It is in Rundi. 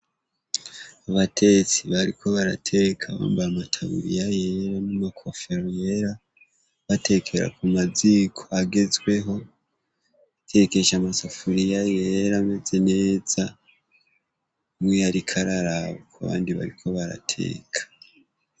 Abatetsi bariko barateka bambare amataburiya yera n'umakofero yera batekeera ku maziko agezweho tekesha amasafuriya yera meze neza mwoiyariko ararabu ku abandi bariko barateka.